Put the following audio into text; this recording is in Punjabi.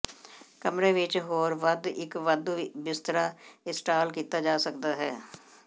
ਕਮਰੇ ਵਿੱਚ ਹੋਰ ਵੱਧ ਇੱਕ ਵਾਧੂ ਬਿਸਤਰਾ ਇੰਸਟਾਲ ਕੀਤਾ ਜਾ ਸਕਦਾ ਹੈ